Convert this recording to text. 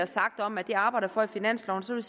sagt om at det arbejder vi for i finansloven så vil